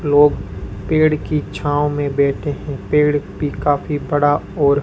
लोग पेड़ की छांव में बैठे हैं पेड़ भी काफी बड़ा और--